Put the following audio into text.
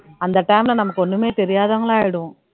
அந்த time ல நமக்கு ஒண்ணுமே தெரியாதவங்களா ஆயிடுவோம்